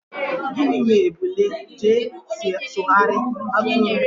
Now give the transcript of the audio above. Gịnị mere ebule ji esoghari atụrụ?